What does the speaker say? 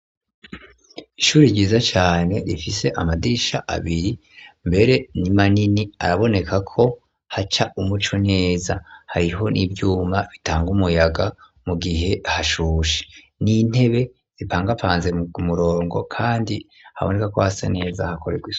Ishuri ryiza cane rifise amadisha abiri mbere n'imanini araboneka ko haca umuco neza hariho n'ivyuma bitanga umuyaga mu gihe hashusha n'intebe zipangapanze m murongo, kandi haboneka ko hasa neza hakorerwe.